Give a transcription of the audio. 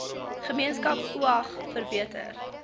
gemeenskap oag verbeter